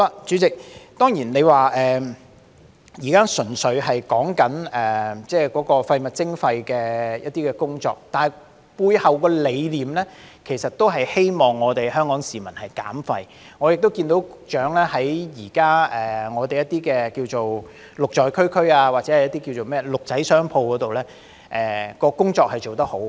主席，當然我們現在純粹是討論有關廢物徵費的一些工作，但背後的理念其實是希望香港市民減廢，我也看到局長現時在一些名為"綠在區區"，或名為"綠仔商鋪"的工作是做得很好的。